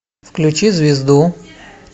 включи звезду